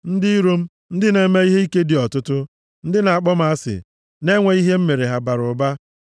Ndị iro m, ndị na-eme ihe ike dị ọtụtụ, ndị na-akpọ m asị, na-enweghị ihe m mere, bara ụba.